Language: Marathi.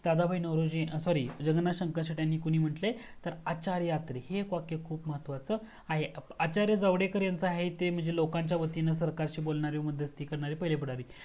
दादाबाई नवरोजी sorry जगन्नाथ शंकर शेटे यांना कोण मंतले आहे आचार्य आत्रे हे एक वाक्य खूप महत्वाच आहे आचार्य गावडेकर यांचं आहे ते म्हणजे लोकांच्या वतीने सरकारशी बोलणारे व मध्यस्ती करणारे पहिले पुढारी